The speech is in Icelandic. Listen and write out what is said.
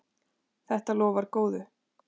Þetta lofaði góðu.